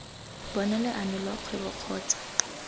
bona leano lwa kgwebo kgotsa